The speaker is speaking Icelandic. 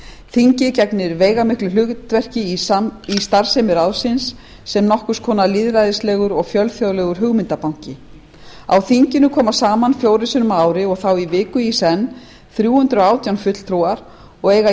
þingið gegnir veigamiklu hlutverki í starfsemi ráðsins sem nokkurs konar lýðræðislegur og fjölþjóðlegur hugmyndabanki á þinginu koma saman fjórum sinnum á ári þrjú hundruð og átján fulltrúar og eiga